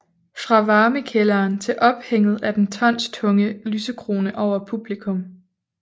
Fra varmekælderen til ophænget af den tonstunge lysekrone over publikum